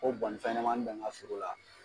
Ko bɔ nin fɛnɲɛnamanin bɛ n ka foro la.